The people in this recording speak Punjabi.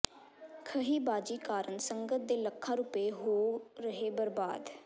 ਖਹਿਬਾਜ਼ੀ ਕਾਰਨ ਸੰਗਤ ਦੇ ਲੱਖਾਂ ਰੁਪਏ ਹੋ ਰਹੇ ਬਰਬਾਦ